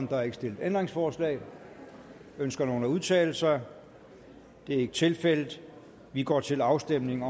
der er ikke stillet ændringsforslag ønsker nogen at udtale sig det er ikke tilfældet og vi går til afstemning